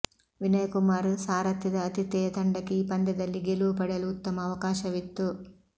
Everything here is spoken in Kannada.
ವಿನಯ್ ಕುಮಾರ್ ಸಾರಥ್ಯದ ಆತಿಥೇಯ ತಂಡಕ್ಕೆ ಈ ಪಂದ್ಯದಲ್ಲಿ ಗೆಲುವು ಪಡೆಯಲು ಉತ್ತಮ ಅವಕಾಶವಿತ್ತು